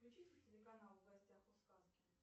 включи телеканал в гостях у сказки